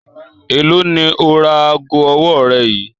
Èló ni o ra aago ọwọ́ rẹ yìí?